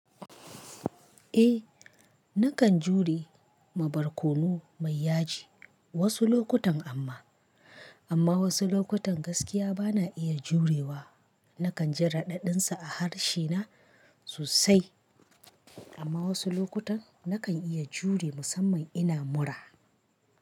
Eh nakan jure ma barkono mai yaji wasu lokutan amma, amma wasu lokutan gaskiya bana iya jurewa. Nakan ji raɗaɗinsa a harshe na sosai. Amma wasu lokutan nakan iya jure musamman ina mura.